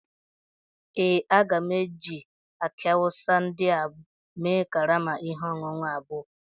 Ee, a ga m eji aki awusa ndị a mee karama ihe ọṅụṅụ abụọ